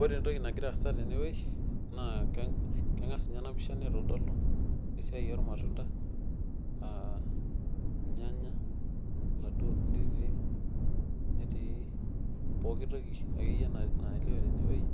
Ore entoki nagira aasa tene wueji, keng'as ninye ena pisha nitodolu ilnyanya, ilndisii. netii pooki toki akeyie nalioo tene wueji,